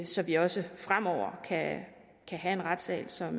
så vi også fremover kan have en retssal som